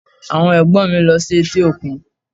Àwọn Ẹ̀gbọ́n mi lọ sí etí òkun